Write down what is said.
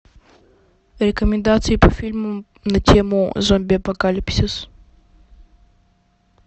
рекомендации по фильмам на тему зомби апокалипсис